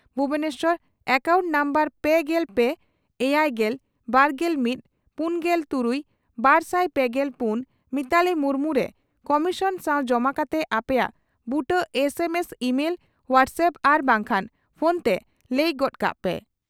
Bhubaneswar account number ᱯᱮᱜᱮᱞ ᱯᱮ ,ᱮᱭᱟᱭᱜᱮᱞ ,ᱵᱟᱨᱜᱮᱞ ᱢᱤᱛ ,ᱯᱩᱱᱜᱮᱞ ᱛᱩᱨᱩᱭ ,ᱵᱟᱨᱥᱟᱭ ᱯᱮᱜᱮᱞ ᱯᱩᱱ ᱢᱤᱛᱟᱞᱤ ᱢᱩᱨᱢᱩ ᱨᱮ ᱠᱚᱢᱤᱥᱚᱱ ᱥᱟᱣ ᱡᱚᱢᱟ ᱠᱟᱛᱮ ᱟᱯᱮᱭᱟᱜ ᱵᱩᱴᱟᱹ S M S email ,WhatsApp ᱟᱨ ᱵᱟᱝᱠᱷᱟᱱ ᱯᱷᱚᱱᱛᱮ ᱞᱟᱹᱭ ᱜᱚᱫ ᱠᱟᱜ ᱯᱮ ᱾